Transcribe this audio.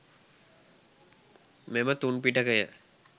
මෙම තුන් පිටකය